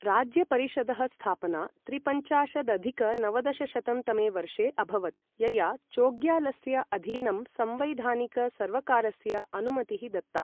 राज्यपरिषदः स्थापना त्रिपञ्चाशदधिक नवदशशतं तमे वर्षे अभवत्, यया चोग्यालस्य अधीनं संवैधानिक सर्वकारस्य अनुमतिः दत्ता।